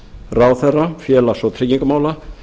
ráðherra félags og tryggingamála